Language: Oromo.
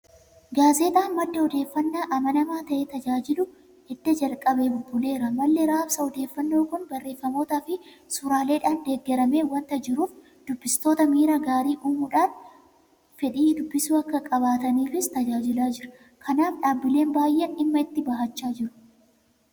Gaazexaan madda odeeffannaa amanamaa ta'ee tajaajiluu edda jalqabee bubbuleera. Malli raabsa odeeffannoo kun barreeffamootaafi suuraaleedhaan deeggaramee waanta jiruuf dubbistootatti miira gaarii uumuudhaan fedhii dubbisuu akka qabaataniifis tajaajilaa jira. Kanaaf dhaabbileen baay'een dhimma itti bahachaa jiru.